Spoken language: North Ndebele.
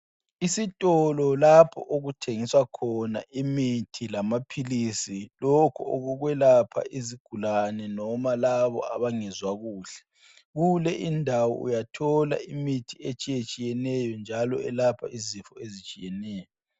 Isitolo lapho okuthengiswa khona imithi lamaphilisi lokho okokwelapha izigulane noma labo abangezwa kuhle kule ndawo uyathola imithi etshiyetshiyeneyo njalo elapha izifo etshiyeneyo.